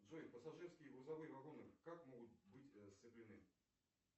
джой пассажирские и грузовые вагоны как могут быть сцеплены